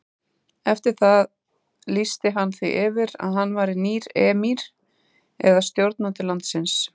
Eftir það lýsti hann því yfir að hann væri nýr emír eða stjórnandi landsins.